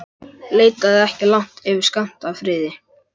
Leitaðu ekki langt yfir skammt að friði.